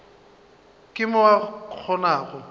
ka mo o ka kgonago